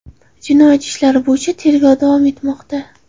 Jinoyat ishlari bo‘yicha tergov davom etmoqda.